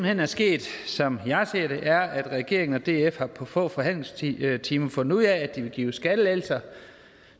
hen er sket som jeg ser det er at regeringen og df på få forhandlingstimer har fundet ud af at de vil give skattelettelser